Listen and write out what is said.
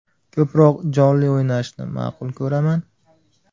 Ko‘proq jonli o‘ynashni ma’qul ko‘raman.